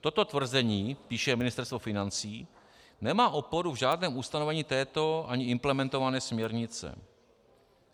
Toto tvrzení - píše Ministerstvo financí - nemá oporu v žádném ustanovení této ani implementované směrnice.